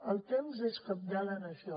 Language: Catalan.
el temps és cabdal en això